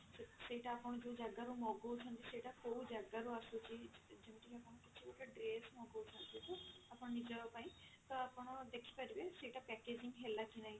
ସେଇ ସେଇଟା ଆପଣ ଯଉ ଜାଗାରୁ ମଗଉଛନ୍ତି ସେଇଟା କଉ ଜାଗା ରୁ ଆସୁଛି ଯେମତି କି ଆପଣ କିଛି ଗୋଟେ dress ମଗଉଛନ୍ତି ତ ଆପଣ ନିଜ ପାଇଁ ତ ଆପଣ ଦେଖିପାରିବେ ସେଇଟା packaging ହେଲା କି ନାହିଁ ସେଇଟା କଉ ଜାଗା ରୁ ଆସୁଛି